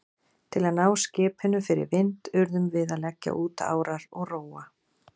Til að ná skipinu fyrir vind urðum við að leggja út árar og róa.